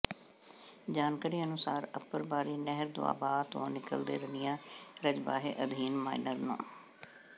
ਜਾਣਕਾਰੀ ਅਨੁਸਾਰ ਅਪਰਬਾਰੀ ਨਹਿਰ ਦੁਆਬ ਤੋਂ ਨਿਕਲਦੇ ਰਣੀਆਂ ਰਜਬਾਹੇ ਅਧੀਨ ਮਾਈਨਰ ਨੰ